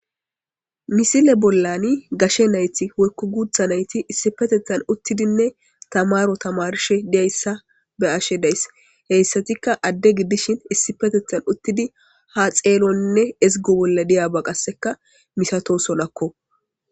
Misile bollani gashe nayti wekku guutha nayti issipetethan uttidinne tamaro tamarshe diyayssa be ashe dayss heyssatikka adde giddishin issi petethan uttidi ha xeelonne ezgo bolla diyaaba qasseka misato solakko